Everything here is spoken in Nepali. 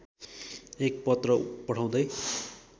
एक पत्र पठाउँदै